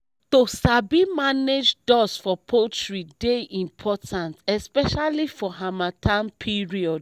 to sabi manage dust for poultry dey important especially for hamattan period